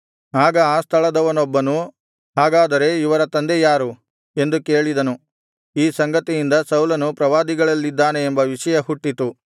ಆಗ ಆ ಸ್ಥಳದವನೊಬ್ಬನು ಹಾಗಾದರೆ ಇವರ ತಂದೆ ಯಾರು ಎಂದು ಕೇಳಿದನು ಈ ಸಂಗತಿಯಿಂದ ಸೌಲನು ಪ್ರವಾದಿಗಳಲ್ಲಿದ್ದಾನೆ ಎಂಬ ವಿಷಯ ಹುಟ್ಟಿತು